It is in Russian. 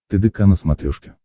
тдк на смотрешке